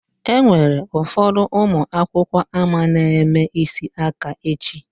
Enwere ụfọdụ ụmụ akwụkwọ ama na-eme isi aka echi.